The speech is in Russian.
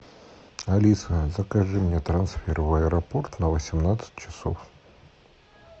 алиса закажи мне трансфер в аэропорт на восемнадцать часов